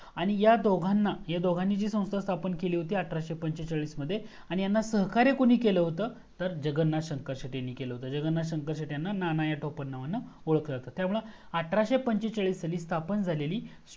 आणि दोघांना ह्या दोघांनी जी संस्था संस्था स्थापन केली होती आठराशे पंचेचाळीस मध्ये आणि यांना सहकार्य कोणी केल होता तर जगन्नाथ शंकर शेटे न केल होता जगन्नाथ शंकर शेटे यांना नाना या टोपण नावाने ओळखल जाता म्हणून अठराशे पंचेचाळीस साली स्थापन झालेली